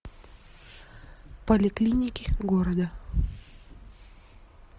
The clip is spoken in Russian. поликлиники города